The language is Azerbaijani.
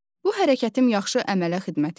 Bu hərəkətim yaxşı əmələ xidmət edir?